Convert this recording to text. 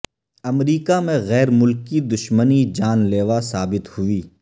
امریکہ میں غیر ملکی دشمنی جان لیوا ثابت ہوئی